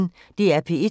DR P1